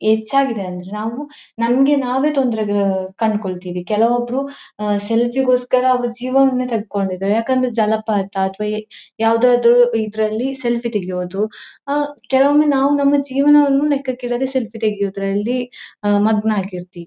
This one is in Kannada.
ಹೆಚ್ಚಾಗಿದೆ ಅಂದ್ರೆ ನಾವು ನಮ್ಗೆ ನಾವೇ ತೊಂದರೆ ಕಂಡ್ಕೊಳ್ತೀವಿ ಕೆಲವೊಬ್ಬರು ಸೆಲ್ಫಿ ಗೋಸ್ಕರ ಅವರ ಜೀವವನ್ನೇ ತಕ್ಕೊಂಡು ಇದ್ದಾರೆ ಯಾಕೇಂದರೆ ಜಲಪಾತ ಅಥವಾ ಯಾವದಾದರೂ ಇದ್ದರಲ್ಲಿ ಸೆಲ್ಫಿ ತಗಿಯೋದು ಆಹ್ಹ್ ಕೆಲವೊಮ್ಮೆ ನಾವು ನಮ್ಮ ಜೀವನವನ್ನು ಲೆಕ್ಕಕ್ಕೆ ಇಡದೆ ಸೆಲ್ಫಿ ತಗಿಯೋದರಲ್ಲಿ ಮಗ್ನ ಆಗಿರ್ತಿವಿ.